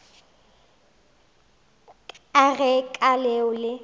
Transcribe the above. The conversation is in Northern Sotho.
ka ge ka leo le